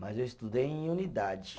Mas eu estudei em unidade.